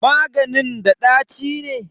Maganin da ɗaci ne?